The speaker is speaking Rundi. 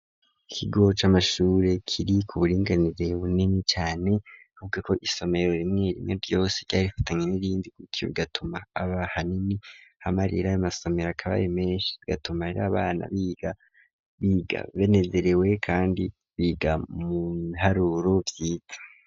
Ikigo c'amashure kiri ku buringanire bunini cane avuga ko isomero rimwe rimwe ryose ryari rifatanye n'irindi kuko gatuma aba hanini hamarira amasomero akabaye menshi gatuma ari abana big biga venezuerewe kandi biga mu biharuro bwite.